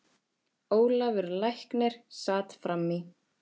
Ólafur læknir sat fram í.